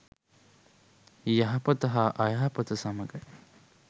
යහපත හා අයහපත සමඟයි.